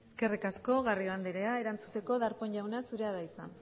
eskerrik asko garrido andrea erantzuteko darpón jauna zurea da hitza